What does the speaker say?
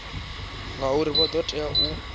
ngaurali vha ḓo tea u